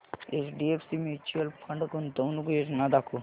HDFC mutual fund गुंतवणूक योजना दाखव